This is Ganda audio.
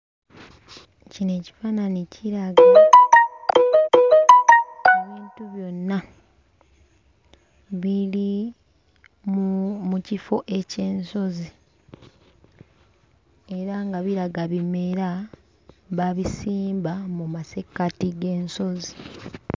Kino ekifaanani kiraga ebintu byonna biri mu mu kifo eky'ensozi era nga biraga bimera baabisimba mu massekkati g'ensozi.